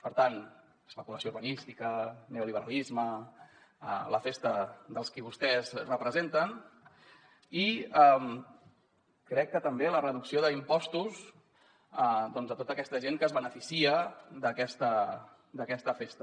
per tant especulació urbanística neoliberalisme la festa dels qui vostès representen i crec que també la reducció d’impostos a tota aquesta gent que es beneficia d’aquesta festa